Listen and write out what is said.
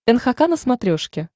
нхк на смотрешке